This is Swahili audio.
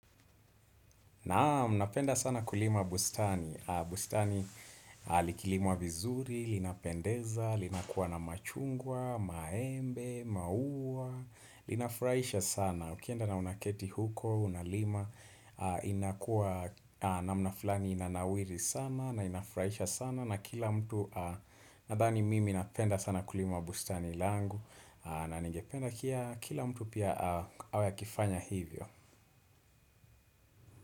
Naam. Napenda sana kulima bustani. Bustani likilimwa vizuri, linapendeza, linakuwa na machungwa, maembe, maua, linafurahisha sana. Ukienda na unaketi huko, unalima, inakuwa namna fulani inanawiri sana na inafurahisha sana na kila mtu nadhani mimi napenda sana kulima bustani langu na ningependa kia kila mtu pia awe akifanya hivyo.